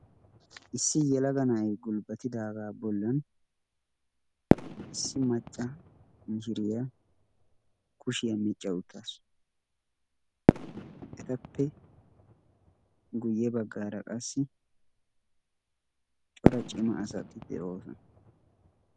issi yelaga na'ai gulbbatidaagaa bollan issi macca mishiriyaa kushiyaa miicca uttaasu. etappe guyye baggaara qassi cora cima asati de'oosona.